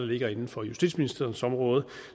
ligger inden for justitsministeriets område